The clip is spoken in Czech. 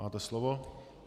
Máte slovo.